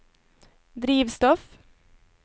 drivstoff